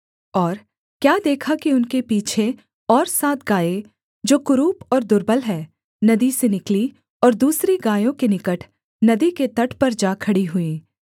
और क्या देखा कि उनके पीछे और सात गायें जो कुरूप और दुर्बल हैं नदी से निकलीं और दूसरी गायों के निकट नदी के तट पर जा खड़ी हुईं